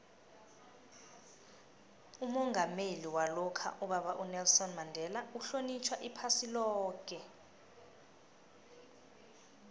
umongameli walokha ubaba unelson mandela uhlonitjhwa iphasi loke